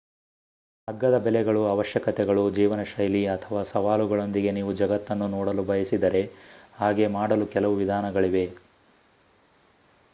ಅಗ್ಗದ ಬೆಲೆಗಳು ಅವಶ್ಯಕತೆಗಳು ಜೀವನಶೈಲಿ ಅಥವಾ ಸವಾಲುಗಳೊಂದಿಗೆ ನೀವು ಜಗತ್ತನ್ನು ನೋಡಲು ಬಯಸಿದರೆ ಹಾಗೆ ಮಾಡಲು ಕೆಲವು ವಿಧಾನಗಳಿವೆ